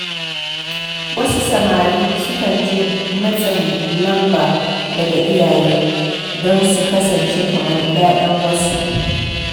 Wasu samari sukan ji matsin lamba daga iyaye don su kasance kamar ‘ya’yan wasu.